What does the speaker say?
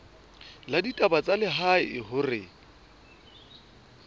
la ditaba tsa lehae hore